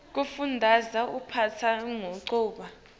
kufundaza liphephandzaba kumcoka